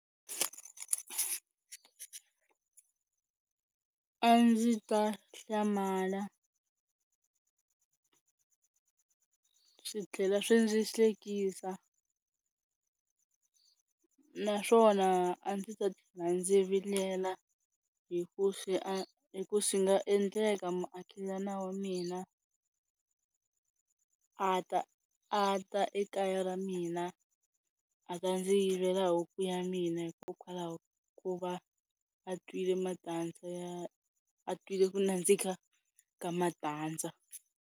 A ndzi ta hlamala swi tlhela swi ndzi hlekisa naswona a ndzi tlhela ndzi vilela hi ku hi ku swi nga endleka muakelani wa mina a ta a ta ekaya ra mina a ta ndzi yivela huku ya mina hikokwalaho ka ku va a twile matandza ya a twile ku nandzika ka matandza.